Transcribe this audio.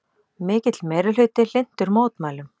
Mikill meirihluti hlynntur mótmælum